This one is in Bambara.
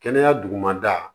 Kɛnɛya dugumada